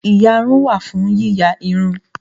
Ìyarun wà fún yíya irun